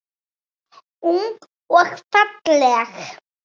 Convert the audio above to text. Ung og falleg.